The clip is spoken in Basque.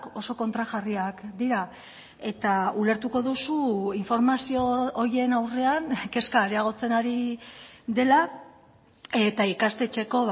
oso kontrajarriak dira eta ulertuko duzu informazio horien aurrean kezka areagotzen ari dela eta ikastetxeko